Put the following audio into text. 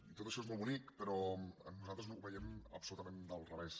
i tot això és molt bonic però nosaltres ho veiem absolutament del revés